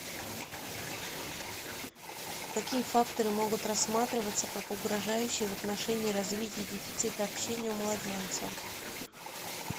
какие факторы могут рассматриваться как угрожающие в отношении развития дефицита общения у младенца